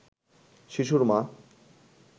শিশুর মা